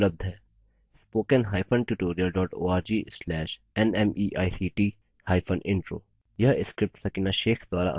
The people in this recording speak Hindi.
* spoken hyphen tutorial dot org slash nmeict hyphen intro